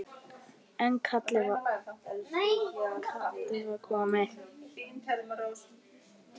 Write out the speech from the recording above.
En kallið var komið.